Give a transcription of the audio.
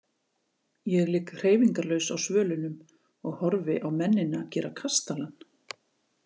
Ég ligg hreyfingarlaus á svölunum og horfi á mennina gera kastalann.